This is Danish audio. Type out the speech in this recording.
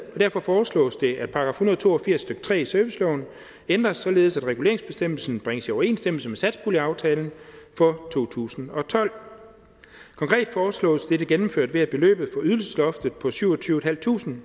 og derfor foreslås det at § en hundrede og to og firs stykke tre i serviceloven ændres således at reguleringsbestemmelsen bringes i overensstemmelse med satspuljeaftalen for to tusind og tolv konkret foreslås dette gennemført ved at beløbet for ydelsesloftet på syvogtyvetusinde